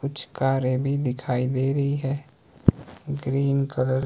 कुछ कारें भी दिखाई दे रही है ग्रीन कलर ।